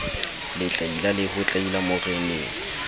letlaila le ho tlaila moreneng